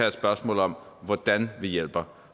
et spørgsmål om hvordan vi hjælper